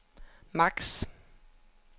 max